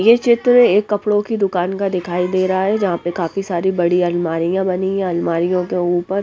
यह चित्र एक कपड़ों की दुकान का दिखाई दे रहा है जहां पे काफी सारी बड़ी अलमारियां बनी है अलमारीयों के ऊपर--